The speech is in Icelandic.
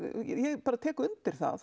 ég tek undir það